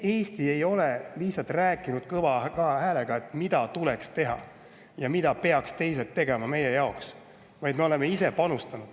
Eesti ei ole lihtsalt rääkinud kõva häälega, mida tuleks teha ja mida peaks teised tegema meie jaoks, vaid me oleme ise panustanud.